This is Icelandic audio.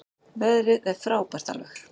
Veðrið er frábært alveg.